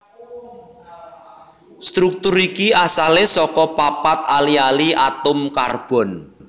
Struktur iki asalé saka papat ali ali atom karbon